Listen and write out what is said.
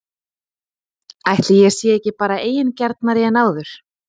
Ætli ég sé ekki bara eigingjarnari en áður?!